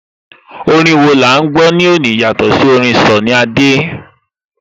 Orin wo ni à ń gbọ́ lónìí yàtọ̀ sí orin Sunny Adé?